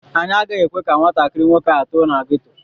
Anyị agaghị ekwe ka nwatakịrị nwoke ahụ too na geto.